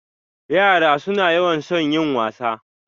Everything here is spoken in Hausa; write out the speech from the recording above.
Yara suna yawan son yin wasa.